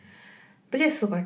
білесіз ғой